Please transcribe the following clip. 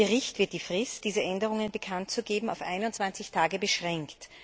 Im Bericht wird die Frist, diese Änderungen bekanntzugeben, auf 21 Tage beschränkt.